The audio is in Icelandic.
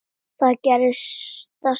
Þar gerðist það sama.